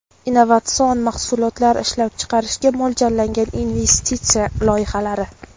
innovatsion mahsulotlar ishlab chiqarishga mo‘ljallangan investisiya loyihalari;.